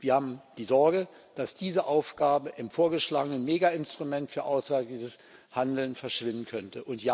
Wir haben die Sorge, dass diese Aufgabe im vorgeschlagenen Mega Instrument für auswärtiges Handeln verschwinden könnte.